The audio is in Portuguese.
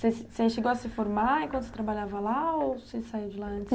Você você chegou a se formar enquanto trabalhava lá ou você saiu de lá antes?